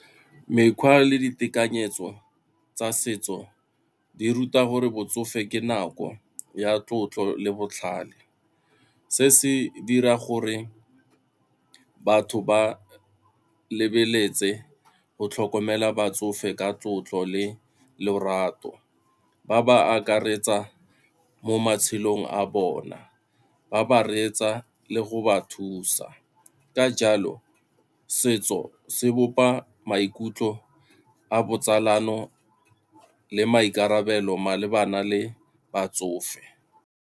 Mekgwa le ditekanyetso tsa setso di ruta gore botsofe ke nako ya tlotlo le botlhale, se se dira gore batho ba lebeletse go tlhokomela batsofe ka tlotlo le lorato, ba ba akaretsa mo matshelong a bona, ba ba reetsa le go ba thusa. Ka jalo setso se bopa maikutlo a botsalano le maikarabelo malebana le batsofe.